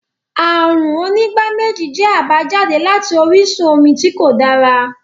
Àrùn onígbáméjì jẹ́ àbájáde láti orísun omi tí kò dára